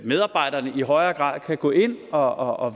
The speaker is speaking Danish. medarbejderne i højere grad kan gå ind og og